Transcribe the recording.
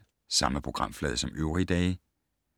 Samme programflade som øvrige dage